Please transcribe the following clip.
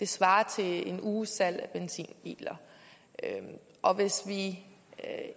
svarer til en uges salg af benzinbiler og hvis vi